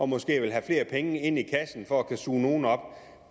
måske have flere penge i kassen for at kunne suge nogle op